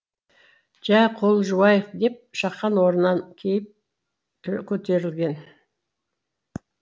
жә қол жуайық деп шақан орнынан кейіп көтерілген